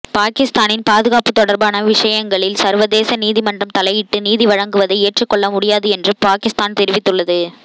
பாகிஸ்தானின் பாதுகாப்பு தொடர்பான விஷயங்களில் சர்வதே நீதிமன்றம் தலையீட்டு நீதிவழங்குவதை ஏற்றுக்கொள்ள முடியாது என்று பாகிஸ்தான் தெரிவித்துள்ளது